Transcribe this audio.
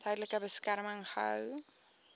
tydelike beskerming gehou